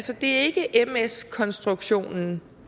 det er ikke ms konstruktionen